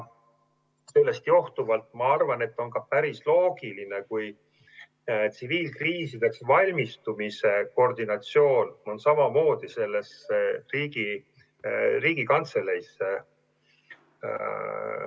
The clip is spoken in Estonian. Sellest johtuvalt ma arvan, et on päris loogiline, kui tsiviilkriisideks valmistumise koordinatsioon on samamoodi Riigikantseleis.